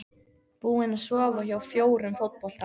Búin að sofa hjá fjórum fótbolta